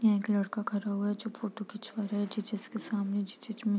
एक लड़का खड़ा हुआ है जो फोटो खिंचवा रहा है जिसस के सामने जी चर्च में |